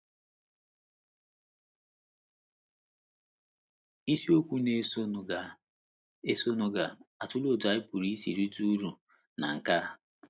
Isiokwu na - esonụ ga - esonụ ga - atụle otú anyị pụrụ isi rite uru ná nkea.